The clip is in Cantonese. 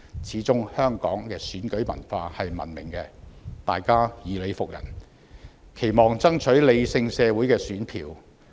始終香港的選舉文化是文明的，大家講求以理服人，期望爭取理性社會的選票。